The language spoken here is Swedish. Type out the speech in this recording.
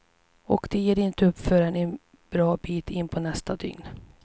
Och de ger inte upp förrän en bra bit inpå nästa dygn.